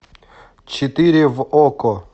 четыре в окко